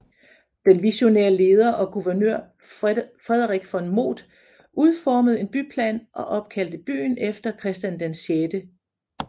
Den visionære leder og guvernør Frederik von Moth udformede en byplan og opkaldte byen efter Christian 6